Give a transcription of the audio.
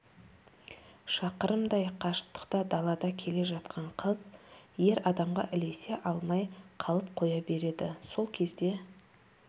шақырымдай қашықтықта далада келе жатқан қыз ер адамға ілесе алмай қалып қоя береді сол кезде